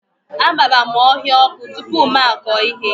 Agbara m ọhịa ọkụ tupu m akọ ihe